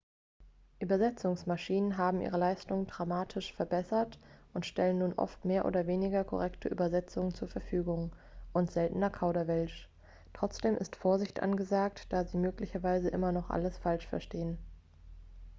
übersetzungsmaschinen haben ihre leistung dramatisch verbessert und stellen nun oft mehr oder weniger korrekte übersetzungen zur verfügung und seltener kauderwelsch. trotzdem ist vorsicht angesagt da sie möglicherweise immer noch alles falsch verstehen